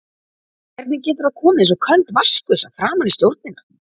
Hvernig getur það komið eins og köld vatnsgusa framan í stjórnina?